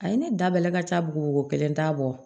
A ye ne da bɛlɛ ka ca bugu kelen t'a bɔ